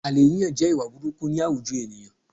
Àlè yíyàn jẹ́ ìwà burukú ní àwujọ ènìyàn